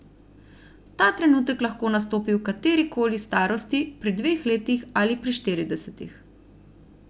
Ta trenutek lahko nastopi v kateri koli starosti, pri dveh letih ali pri štiridesetih.